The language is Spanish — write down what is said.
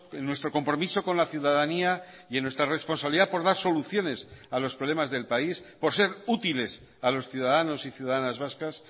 en nuestro compromiso con la ciudadanía y en nuestra responsabilidad por dar soluciones a los problemas del país por ser útiles a los ciudadanos y ciudadanas vascas